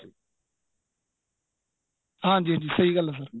ਹਾਂਜੀ ਹਾਂਜੀ ਸਹੀਂ ਗੱਲ ਏ sir